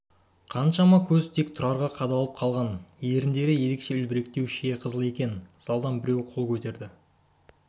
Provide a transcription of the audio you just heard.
қаншама көз тек тұрарға қадалып қалған еріндері ерекше үлбіректеу шие қызыл екен залдан біреу қол көтерді